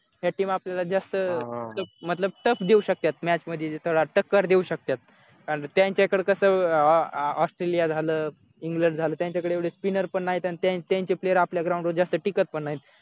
नशीब आपल्याला जास्त tough देऊ शकतात match मधी टक्कर देऊ शकतात त्यांच्याकडे कसं australia झाला england झालं त्यांच्याकडे एवढे spinner पण नाहीत आणि त्यांचे player आपल्या ground वर जास्त टिकत पण नाही